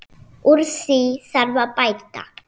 Úr því þarf að bæta.